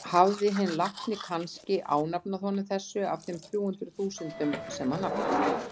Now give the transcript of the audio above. Hafði hinn látni kannske ánafnað honum þessu af þeim þrjú hundruð þúsundum sem hann átti?